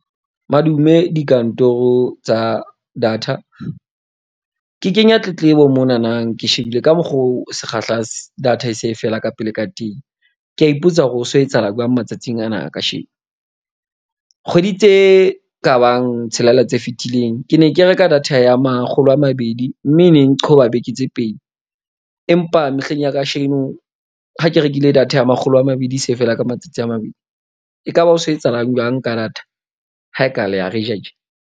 Madume dikantoro tsa data. Ke kenya tletlebo, monanang ke shebile ka mokgo sekgahla data e se e fela ka pele ka teng. Ke a ipotsa hore ho so etsahala jwang matsatsing ana a kasheko, kgwedi tse kabang tshelela tse fetileng. Ke ne ke reka data ya makgolo a mabedi. Mme neng nqhoba beke tse pedi, empa mehleng ya kasheno ha ke rekile data ya makgolo a mabedi se feela ka matsatsi a mabedi. Ekaba ho so etsahalang jwang ka data? Ha e ka le a re ja tje?